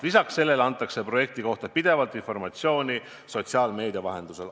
Lisaks sellele antakse projekti kohta pidevalt informatsiooni sotsiaalmeedia vahendusel.